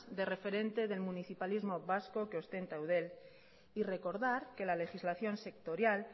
de referente del municipalismo vasco que ostenta eudel y recordar que la legislación sectorial